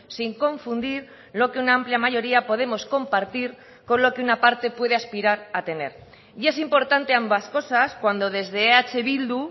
sin confundir lo que una amplia mayoría podemos compartir con lo que una parte puede aspirar a tener y es importante ambas cosas cuando desde eh bildu